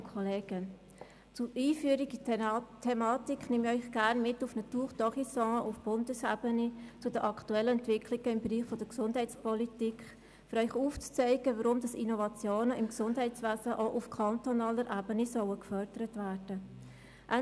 Zur Einführung in die Thematik nehme ich Sie gerne mit auf eine Tour d’Horizon durch die Bundesebene, zu den aktuellen Entwicklungen im Bereich der Gesundheitspolitik, um Ihnen aufzuzeigen, warum Innovationen im Gesundheitswesen auch auf kantonaler Ebene gefördert werden sollen.